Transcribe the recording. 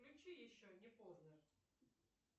включи еще не поздно